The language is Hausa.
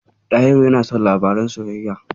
Ɗahiru yana son labaran soyayya.